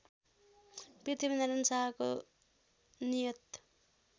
पृथ्वीनारायण शाहको नियत